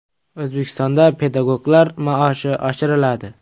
O‘zbekistonda pedagoglar maoshi oshiriladi.